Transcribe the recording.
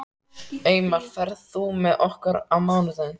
Eymar, ferð þú með okkur á mánudaginn?